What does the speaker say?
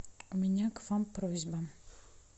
у меня к вам просьба